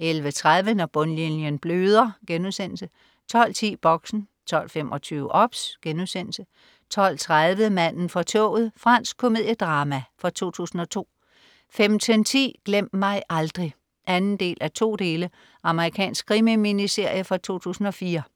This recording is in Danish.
11.30 Når bundlinjen bløder* 12.10 Boxen 12.25 OBS* 12.30 Manden fra toget. Fransk komediedrama fra 2002 15.10 Glem mig aldrig. 2:2 Amerikansk krimi-miniserie fra 2004